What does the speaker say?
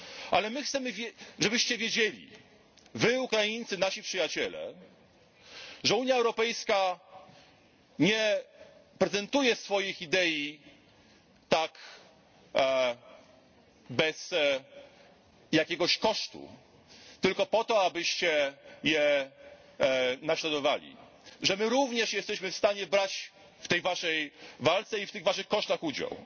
Ale my chcemy, żebyście wiedzieli, Wy Ukraińcy, nasi przyjaciele, że Unia Europejska nie prezentuje swoich idei tak bez jakiegoś kosztu, tylko po to, abyście je naśladowali, że my również jesteśmy w stanie brać w tej Waszej walce i w tych Waszych kosztach udział.